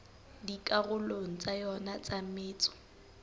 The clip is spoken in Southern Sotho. dikarolong tsa yona tsa metso